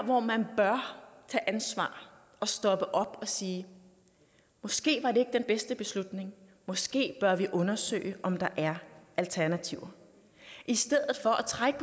hvor man bør tage ansvar og stoppe op og sige måske var det ikke den bedste beslutning måske bør vi undersøge om der er alternativer i stedet for trækker